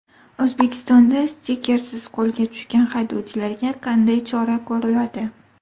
O‘zbekistonda stikersiz qo‘lga tushgan haydovchilarga qanday chora ko‘riladi?